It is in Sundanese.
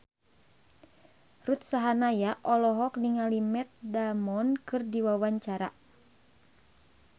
Ruth Sahanaya olohok ningali Matt Damon keur diwawancara